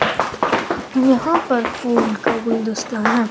यहां पर फूल का गुलदस्ता है।